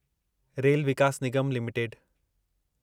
rail Vikas Nigam limited